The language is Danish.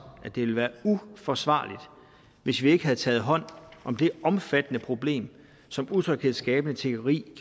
at det ville have været uforsvarligt hvis vi ikke havde taget hånd om det omfattende problem som utryghedsskabende tiggeri